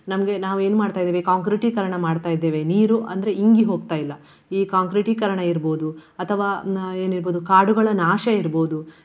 ನಮ್ಗೆ ನಾವು ಏನ್ ಮಾಡ್ತಾ ಇದ್ದೇವೆ ಕಾಂಕ್ರೀಟೀಕರಣ ಮಾಡ್ತಾ ಇದ್ದೇವೆ. ನೀರು ಅಂದ್ರೆ ಇಂಗಿ ಹೋಗ್ತಾ ಇಲ್ಲ. ಈ ಕಾಂಕ್ರೀಟೀಕರಣ ಇರ್ಬಹುದು ಅಥವಾ ಏನ್ ಹೇಳ್ಬಹುದು ಕಾಡುಗಳ ನಾಶ ಇರ್ಬಹುದು.